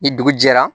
Ni dugu jɛra